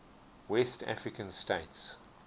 west african states